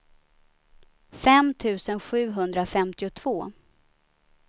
fem tusen sjuhundrafemtiotvå